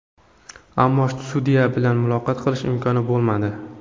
Ammo sudya bilan muloqot qilish imkoni bo‘lmadi.